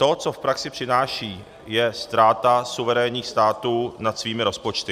To, co v praxi přináší, je ztráta suverénních států nad svými rozpočty.